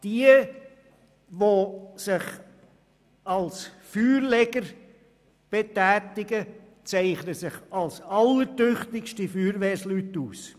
Diejenigen, die sich als Feuerleger betätigen, zeichnen sich als allertüchtigste Feuerwehrmänner aus.